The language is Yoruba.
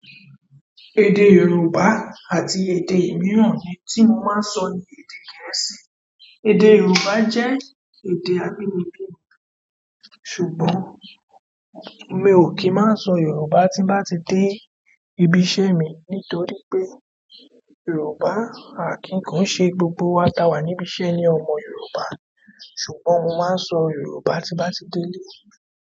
Èdè Yorùbá àti èdè mìíràn ni tí mo máa ń sọ ní èdè gẹ̀ẹ́sì. Èdè Yorùbá jẹ́ èdè abínibí mi ṣùgbọ́n mi ò kì í máa sọ Yorùbá tí bá ti dé ibi iṣẹ́ mi nítorí pé Yorùbá àkín ko ń ṣe gbogbo awa ta wà níbi iṣẹ́ ni ọmọ Yorùbá. Ṣùgbọ́n mo máa ń sọ yorùbá tí ń bati dé ilé.